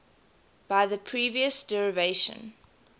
by the previous derivation